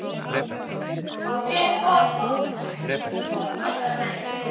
Ég bara man það- það er komið að þér.